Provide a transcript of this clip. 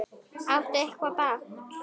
Áttu eitthvað blátt?